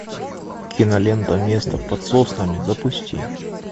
кинолента место под соснами запусти